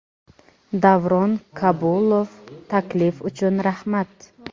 Davron Kabulov, taklif uchun rahmat.